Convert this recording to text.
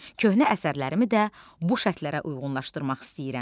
Köhnə əsərlərimi də bu şərtlərə uyğunlaşdırmaq istəyirəm.